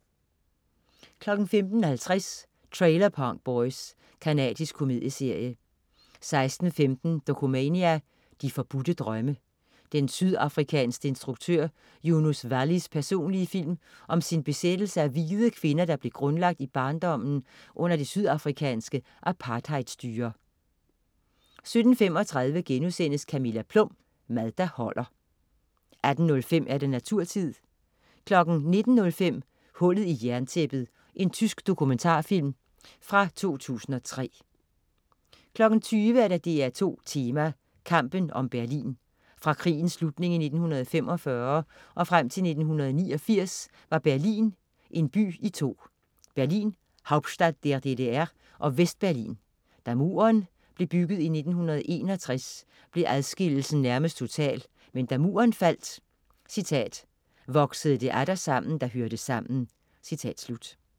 15.50 Trailer Park Boys. Canadisk komedieserie 16.15 Dokumania: De forbudte drømme. Den sydafrikanske instruktør Yunus Vallys personlige film om sin besættelse af hvide kvinder, der blev grundlagt i barndommen under det sydafrikanske apartheidstyre 17.35 Camilla Plum. Mad der holder 7:8* 18.05 Naturtid 19.05 Hullet i jerntæppet. Tysk dokumentarfilm af fra 2003 20.00 DR2 Tema: Kampen om Berlin. Fra krigens slutning i 1945 og frem til 1989 var Berlin en by i to: Berlin, Hauptstadt der DDR, og Vest-Berlin. Da Muren blev bygget i 1961, blev adskillelsen nærmest total, men da Muren faldt, "voksede det atter sammen, der hørte sammen"